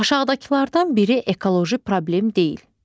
Aşağıdakılardan biri ekoloji problem deyil.